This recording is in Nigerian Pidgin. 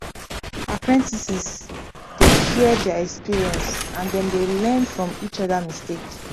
apprentices dey share their experience and dem dey learn from each other mistake